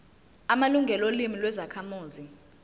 amalungelo olimi lwezakhamuzi